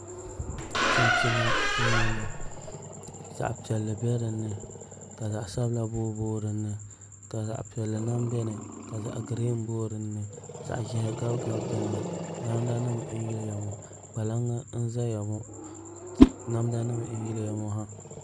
Chinchina n bɔŋɔ zaɣ piɛlli bɛ dinni ka zaɣ sabila booi booi dinni ka zaɣ piɛlli lahi biɛni ka zaɣ giriin booi dinni zaɣ ʒiɛhi gabi gabi dinni namda nim n yiliya ŋɔ kpalaŋ n ʒɛya ŋɔ namda nim n yiliya ŋɔ ha